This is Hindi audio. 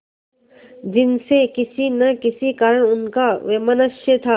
जिनसे किसी न किसी कारण उनका वैमनस्य था